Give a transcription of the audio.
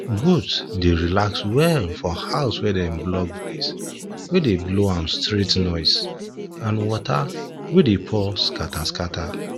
goat dey relax well for house wey dem block breeze wey dey blow am straight noise and water wey dey pour scatter scatter